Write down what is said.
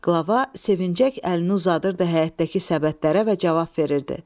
Qlava sevinərək əlini uzadırdı həyətdəki səbətlərə və cavab verirdi.